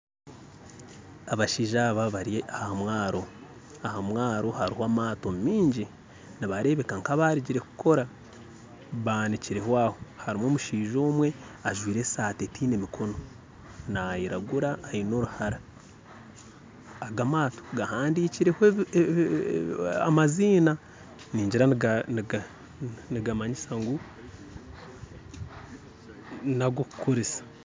Abashaija abari aha mwaro aha mwaro hariho amaato mingi nibarebeka nkabarugire kukora banikire aho hariho omushaija omwe ajaire esaati etiine mikomo agamaato gahandikireho amazima nigira nigamayisya ngu nagokukoresa